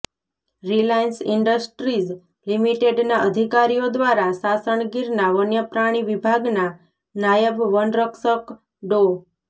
Reliance Industries લિમિટેડના અધિકારીઓ દ્વારા સાસણ ગીરના વન્યપ્રાણી વિભાગના નાયબ વન સંરક્ષક ડો